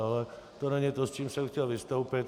Ale to není to, s čím jsem chtěl vystoupit.